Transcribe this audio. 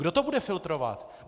Kdo to bude filtrovat?